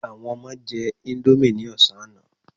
Àwọn ọmọ jẹ índómì ní ọ̀sán àná.